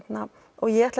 ég ætla